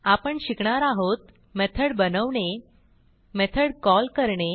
आपण शिकणार आहोत मेथॉड बनवणे मेथॉड कॉल करणे